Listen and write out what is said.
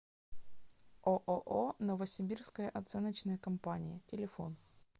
ооо новосибирская оценочная компания телефон